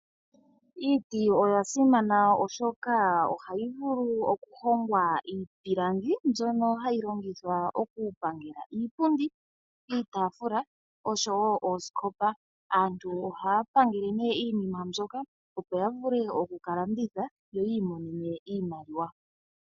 Iiti oya simana oshoka ohayi vulu oku hongwa iipilangi mbyono hayi longithwa oku kaninga iipundi, iitaafula osho wo oosikopa. Aantu ohaya pangele nee iinima mbyoka opo ya vule oku ka landitha, yo yi imonene iimaliwa.